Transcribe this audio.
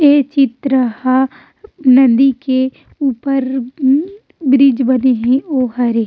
ये चित्र ह नदी के ऊपर ब्रीज बने हे ओ हरे --